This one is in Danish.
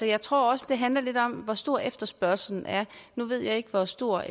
jeg tror også det handler lidt om hvor stor efterspørgslen er nu ved jeg ikke hvor stor